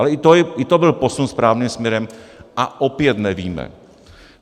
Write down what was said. Ale i to byl posun správným směrem, a opět nevíme.